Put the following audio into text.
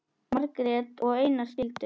Margrét og Einar skildu.